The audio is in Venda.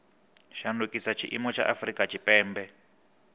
shandukisa tshiimo tsha afurika tshipembe